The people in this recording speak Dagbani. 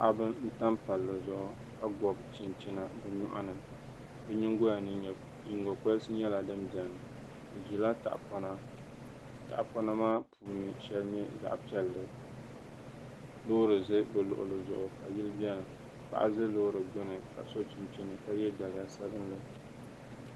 Paɣaba n tam palli zuɣu ka gobi chinchina bi nyoɣani bi nyingoya ni nyingokoriti nyɛla din biɛni bi ʒila tahapona tahapona maa puuni shɛli nyɛ zaɣ piɛlli loori ʒɛ bi luɣuli zuɣu ka yili biɛni paɣa ʒɛ loori gbuni ka so chinchini ka yɛ daliya sabinli